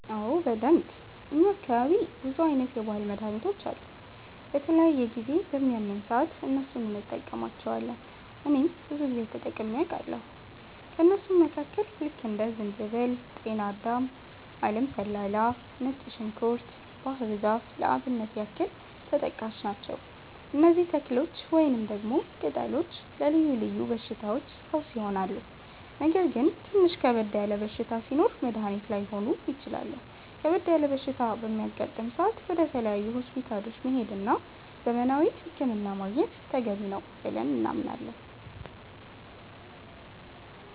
አዎ በደንብ፣ እኛ አካባቢ ብዙ አይነት የባህል መድሀኒቶች አሉ። በተለያየ ጊዜ በሚያመን ሰአት እነሱን እንቀማለቸዋለን እኔም ብዙ ጊዜ ተጠቅሜ አቃለሁኝ። ከእነሱም መካከል ልክ እንደ ዝንጅበል፣ ጤናዳም፣ አለም ሰላላ፣ ነጭ ዝንኩርት፣ ባህር ዛፍ ለአብነት ያክል ተጠቃሽ ናቸው። እነዚህ ተክሎች ወይንም ደግሞ ቅጠሎች ለልዮ ልዮ በሽታዎች ፈውስ ይሆናሉ። ነገር ግን ትንሽ ከበድ ያለ በሽታ ሲኖር መድኒት ላይሆኑ ይችላሉ ከበድ ያለ በሽታ በሚያጋጥም ሰአት ወደ ተለያዩ ሆስፒታሎች መሄድ እና ዘመናዊ ህክምና ማግኘት ተገቢ ነው ብለን እናምናለን።